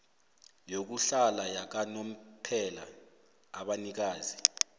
yokuhlala yakanomphela abanikazi